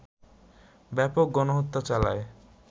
ব্যাপক গণহত্যা চালায়